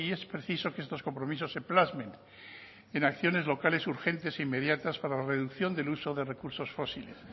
es preciso que estos compromisos se plasmen en acciones locales urgentes e inmediatas para la reducción del uso de recursos fósiles